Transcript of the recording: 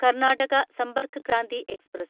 Karnataka Sampark Kranti express